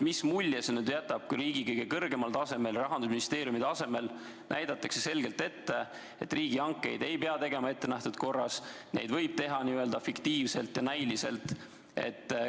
Mis mulje see jätab, kui riigi kõige kõrgemal, Rahandusministeeriumi tasemel näidatakse selgelt ette, et riigihankeid ei pea tegema ettenähtud korras, vaid neid võib teha n-ö fiktiivselt, näiliselt?